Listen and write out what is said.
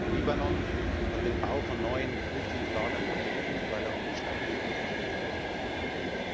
Der Libanon hat den Bau neuer Flüchtlingslager verboten, weil er um die Stabilität des eigenen Landes fürchtet.